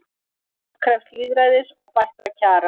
Fólk krefst lýðræðis og bættra kjara